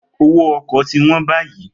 Owó ọkọ̀ tí wọ́n báyìí.